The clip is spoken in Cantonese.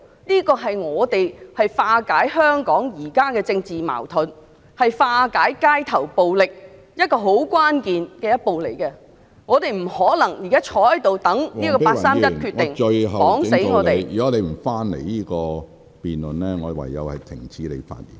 這是政府化解香港現時的政治矛盾、化解街頭暴力至為關鍵的一步，政府不可能坐在這裏等待，讓這個八三一決定牢牢捆綁香港......